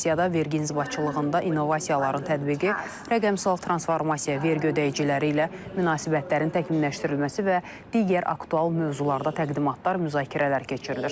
Sessiyada vergi inzibatçılığında innovasiyaların tətbiqi, rəqəmsal transformasiya, vergi ödəyiciləri ilə münasibətlərin təkmilləşdirilməsi və digər aktual mövzularda təqdimatlar, müzakirələr keçirilir.